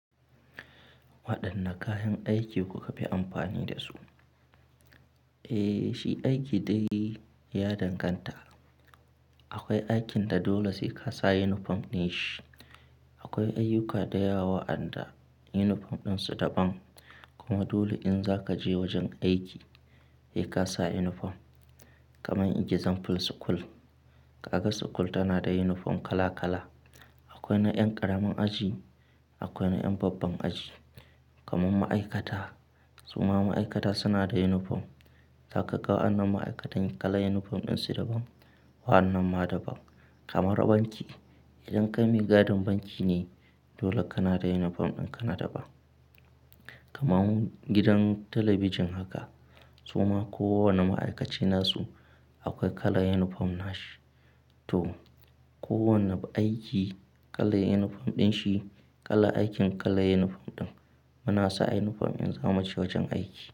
Waɗanne kayan aiki kuka fi amfani da su? Eh, shi aiki dai ya danganta. Akwai aikin da dole sai ka sa unifom din shi. Akwai ayyuka da yawa waɗanda unifom ɗinsu daban. Kuma dole in za ka je wajen aiki, sai ka sa unifom. Kamar example school, ka ga school tana da unifom kala kala. Akwai na ƴan ƙaramar aji, akwai na ƴan babban aji. Kaman ma'aikata, suma ma'aikata suna da unifom. Zaka ga wa'annan ma'aikatan kalan yunifom ɗinsu daban, wa'annan ma daban. Kamar banki, idan ka mi gadin banki ne, dole kana da unifom in kana daban. Kaman gidan talabijin haka, suma kowane ma'aikaci nasu akwai kalan unifom na shi. To, kowane aiki kalan unifom din shi, kalan aikin kalan unifom ɗin. Muna sa unifom in zamu je wajen aiki.